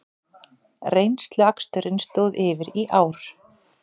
Reynsluaksturinn stóð yfir í ár